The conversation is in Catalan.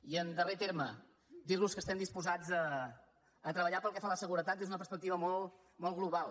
i en darrer terme dir los que estem disposats a treballar pel que fa a la seguretat des d’una perspectiva molt global